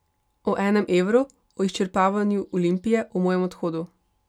O enem evru, o izčrpavanju Olimpije, o mojem odhodu...